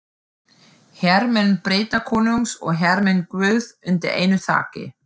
Hermenn Bretakonungs og hermenn guðs undir einu þaki.